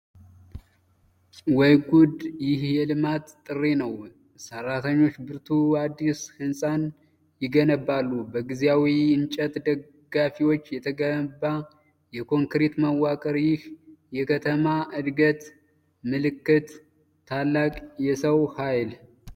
ወይ ጉድ! ይህ የልማት ጥሪ ነው! ሠራተኞች በብርቱ አዲስ ሕንፃን ይገነባሉ! በጊዜያዊ እንጨት ደጋፊዎች የተገነባ የኮንክሪት መዋቅር! ይህ የከተማ ዕድገት ምልክት ነው! ታላቅ የሰው ኃይል!